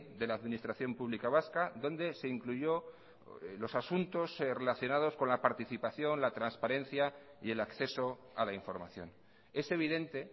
de la administración pública vasca donde se incluyó los asuntos relacionados con la participación la transparencia y el acceso a la información es evidente